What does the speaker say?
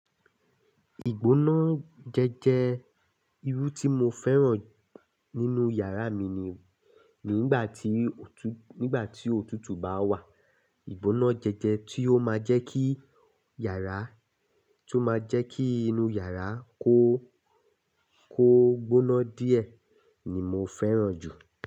Ìgbóná jẹjẹ irú tí mo fẹ́ràn nínú yàrá mi ni, nígbà tí òtútù bá wà, ìgbóná jẹjẹ tí ó máa jẹ́ kí yàrá, tí ó máa jẹ́ kí inú yàrá kó, kó gbóná díẹ̀ ni mo fẹ́ràn jù.